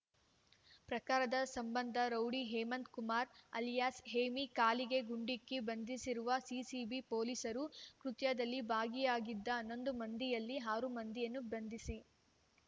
ಪ್ರಕರದ ಸಂಬಂಧ rowdy Hemanth Kumar alias Hemi ಕಾಲಿಗೆ ಗುಂಡಿಕ್ಕಿ ಬಂಧಿಸಿರುವ ಸಿಸಿಬಿ ಪೊಲೀಸರು ಕೃತ್ಯದಲ್ಲಿ ಭಾಗಿಯಾಗಿದ್ದ ಹನ್ನೊಂದು ಮಂದಿಯಲ್ಲಿ ಆರು ಮಂದಿಯನ್ನು ಬಂಧಿಸಿ